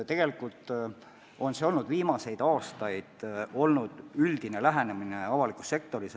Tegelikult on see viimastel aastatel olnud üldine lähenemine avalikus sektoris.